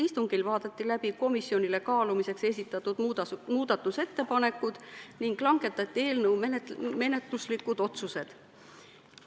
Istungil vaadati läbi komisjonile kaalumiseks esitatud muudatusettepanekud ning langetati eelnõu menetluslikud otsused.